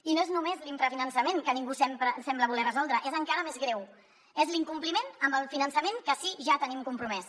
i no és només l’infrafinançament que ningú sembla voler resoldre és encara més greu és l’incompliment del finançament que sí ja tenim compromès